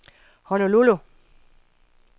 Honolulu